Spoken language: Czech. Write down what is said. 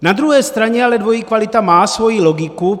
Na druhé straně ale dvojí kvalita má svoji logiku.